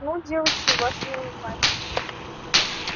ну девочки вас не узнать